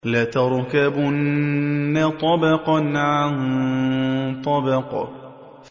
لَتَرْكَبُنَّ طَبَقًا عَن طَبَقٍ